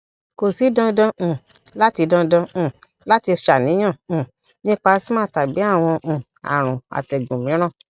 ko si dandan um lati dandan um lati ṣàníyàn um nipa asthma tàbí àwọn um àrùn àtẹ́gùn mìíràn